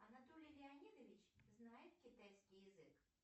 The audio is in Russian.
анатолий леонидович знает китайский язык